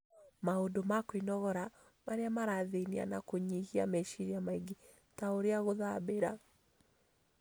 Maũndũ ma kwĩnogora marĩa marathiania na kũnyihia meciria maingĩ, ta ũrĩa gũthambĩra,